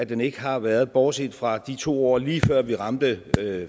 den ikke har været bortset fra de to år lige før vi ramte